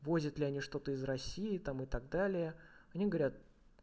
возят ли они что-то из россии там и так далее они говорят